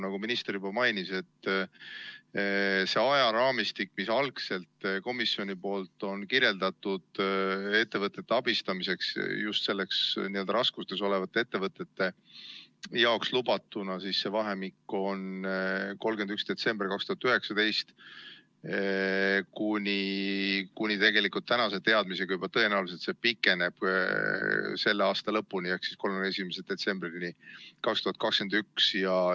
Nagu minister juba mainis, ulatub see ajaraamistik, mida algselt on komisjon kirjeldanud just raskustes olevate ettevõtete abistamiseks, 31. detsembrist 2019 kuni tänase teadmisega juba tõenäoliselt selle aasta lõpuni ehk 31. detsembrini 2021.